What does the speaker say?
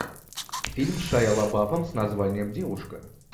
фильм с шайа лабафом с названием девушка